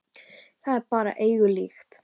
Það er bara engu líkt.